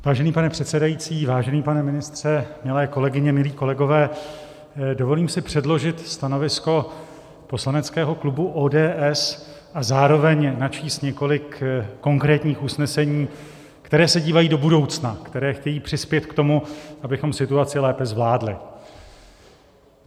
Vážený pane předsedající, vážený pane ministře, milé kolegyně, milí kolegové, dovolím si předložit stanovisko poslaneckého klubu ODS a zároveň načíst několik konkrétních usnesení, která se dívají do budoucna, která chtějí přispět k tomu, abychom situaci lépe zvládli.